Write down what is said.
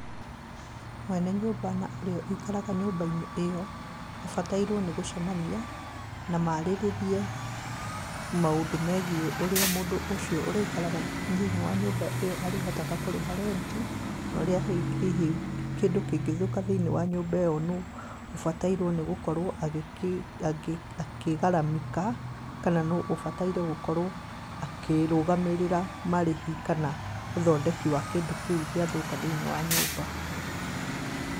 Mwene nyũmba na ũrĩa wũikaraga nyũmba-inĩ ĩyo mabatairwo nĩgũcemania, na marĩrie maũndũ megiĩ ũrĩa mũndũ ũcio ũrĩikaraga thĩ-inĩ wa nyũmba ĩyo arĩhotaga kũrĩha rent, norĩa hihi kĩndũ kĩngĩthũka thí-inĩ wa nyũmba ĩyo nũ, ũbataire gũkorwo agĩkĩ, akĩgaramika, kana nũ ũbataire gũkorwo akĩrũgamĩrĩra marĩhi kana ũthindeki wa kĩndũ kĩu gĩathũka thĩ-inĩ wa nyũmba.